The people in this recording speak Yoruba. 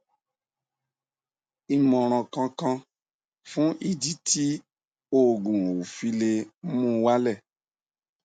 imoran kan kan fun idi ti ti oogun o file muwale